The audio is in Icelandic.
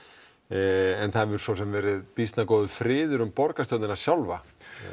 en það hefur svo sem verið býsna góður friður um borgarstjórnina sjálfa